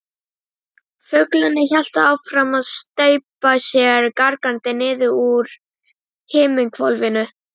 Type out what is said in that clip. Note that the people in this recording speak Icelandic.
Fuglarnir héldu áfram að steypa sér gargandi niður úr himinhvolfinu.